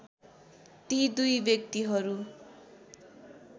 ती दुई व्यक्तिहरु